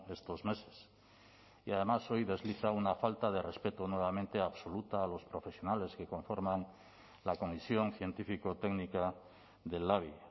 estos meses y además hoy desliza una falta de respeto nuevamente absoluta a los profesionales que conforman la comisión científico técnica del labi